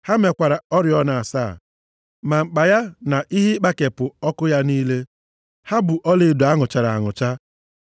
Ha mekwara oriọna asaa ya, ma mkpa ya na ihe ịkpakepụ ọkụ ya niile. Ha bụ ọlaedo a nụchara anụcha.